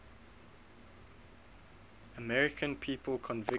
american people convicted